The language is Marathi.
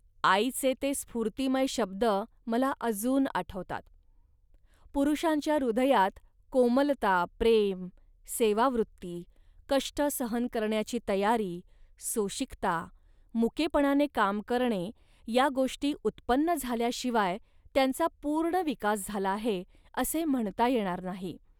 आईचे ते स्फूर्तिमय शब्द मला अजून आठवतात. पुरुषांच्या हृदयात कोमलता, प्रेम, सेवावृत्ती, कष्ट सहन करण्याची तयारी, सोशिकता, मुकेपणाने काम करणे या गोष्टी उत्पन्न झाल्याशिवाय त्यांचा पूर्ण विकास झाला आहे, असे म्हणता येणार नाही